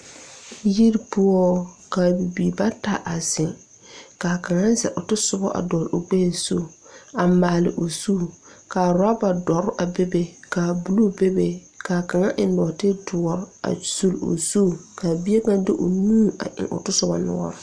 Yiri poɔ ka bibiire bata a zeŋ ka kaŋa zɛl o tasobɔ a dɔɔle o gbɛɛ zu a maale o zu ka rɔba dɔre a bebe kaa bluu bebe kaa kaŋa eŋ nɔɔti doɔre a suli o zu ka bie kaŋ de o nu eŋ otɔsobɔ noɔre.